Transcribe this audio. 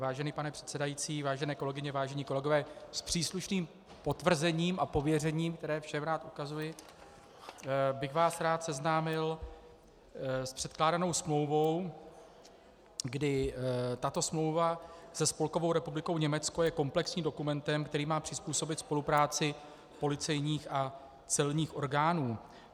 Vážený pane předsedající, vážené kolegyně, vážení kolegové, s příslušným potvrzením a pověřením, které všem rád ukazuji, bych vás rád seznámil s předkládanou smlouvou, kdy tato smlouva se Spolkovou republikou Německo je komplexním dokumentem, který má přizpůsobit spolupráci policejních a celních orgánů.